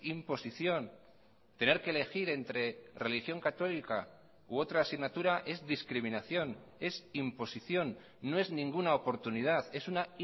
imposición tener que elegir entre religión católica u otra asignatura es discriminación es imposición no es ninguna oportunidad es una